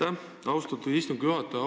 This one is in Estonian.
Aitäh, austatud istungi juhataja!